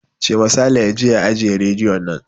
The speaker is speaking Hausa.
Cema Saleh ya je ya ajiye rediyon nan!